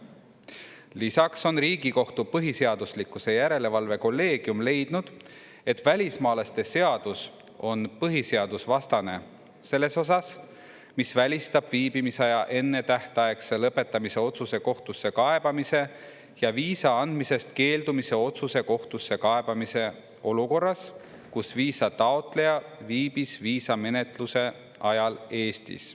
Lisaks on Riigikohtu põhiseaduslikkuse järelevalve kolleegium leidnud, et välismaalaste seadus on põhiseadusvastane selles osas, mis välistab viibimisaja ennetähtaegse lõpetamise otsuse kohtusse kaebamise ja viisa andmisest keeldumise otsuse kohtusse kaebamise olukorras, kus viisataotleja viibis viisamenetluse ajal Eestis.